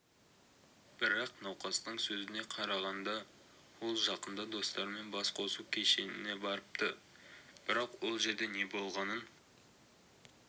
бірақ науқастың сөзіне қарағанда ол жақында достарымен бас қосу кешіне барыпты бірақ ол жерде не болғанын